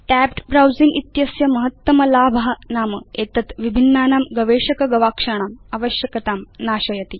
tapped browsing इत्यस्य महत्तम लाभ नाम एतत् विभिन्नानां गवेषक गवाक्षाणाम् आवश्यकतां नाशयति